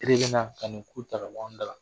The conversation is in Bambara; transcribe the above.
E de bɛ na ka n'u ku ta ka bɔ anw dala